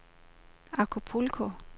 Acapulco